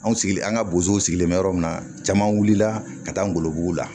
Anw sigilen an ka bozow sigilen bɛ yɔrɔ min na caman wulila ka taa golobugu la